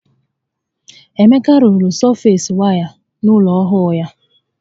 Emeka rụrụ sọfeesi waya n'ụlọ ọhụụ ya